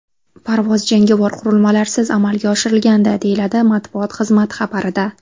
Parvoz jangovar qurilmalarsiz amalga oshirilgandi”, deyiladi matbuot xizmati xabarida.